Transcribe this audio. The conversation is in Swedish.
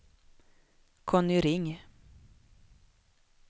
Conny Ring